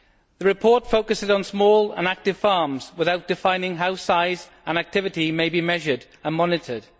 The report focuses on small and active farms, without defining how size and activity may be measured and monitored.